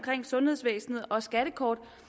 sundhedsvæsenet og skattekortet